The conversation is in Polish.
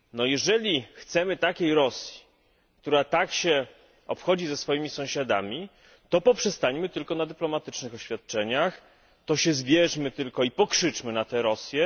Jeżeli chcemy Rosji, która tak się obchodzi ze swoimi sąsiadami, to poprzestańmy tylko na dyplomatycznych oświadczeniach, to się zbierzmy i pokrzyczmy tylko na Rosję.